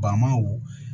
Bamaw